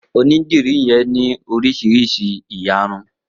Onídìrí yen ní oríṣiríṣi ìyarun